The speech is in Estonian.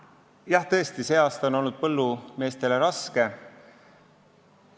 Jah, tõesti, see aasta on olnud põllumeestele raske.